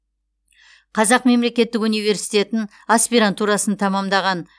қазақ мемлекеттік университетін аспирантурасын тәмамдаған